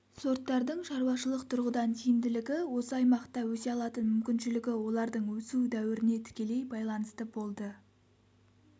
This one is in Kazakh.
сорттардың шаруашылық тұрғыдан тиімділігі осы аймақта өсе алатын мүмкіншілігі олардың өсу дәуіріне тікелей байланысты болды